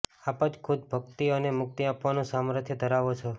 આપ જ ખુદ ભક્તિ અને મુક્તિ આપવાનું સામર્થ્ય ધરાવો છો